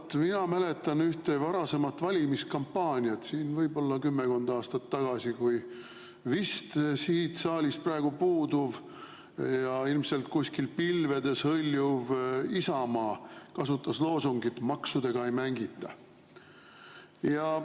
Vaat mina mäletan ühte varasemat valimiskampaaniat, võib-olla kümmekond aastat tagasi, kui vist siit saalist praegu puuduv ja ilmselt kuskil pilvedes hõljuv Isamaa kasutas loosungit "Maksudega ei mängita".